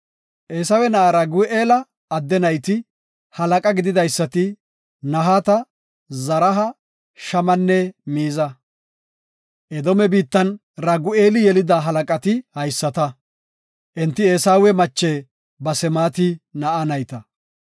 Eesawe na7a Ragu7eela adde nayti, halaqa gididaysati Nahaata, Zaraha, Shamanne Miiza; Edoome biittan Ragu7eeli yelida halaqati haysata; enti Eesawe mache Basemaati na7a nayta.